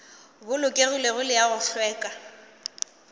bolokegilego le a go hlweka